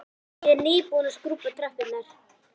Ég er nýbúin að skrúbba tröppurnar.